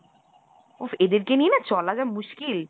উফ! এদেরকে নিয়ে চলা যা মুশকিল!